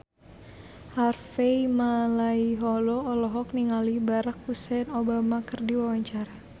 Harvey Malaiholo olohok ningali Barack Hussein Obama keur diwawancara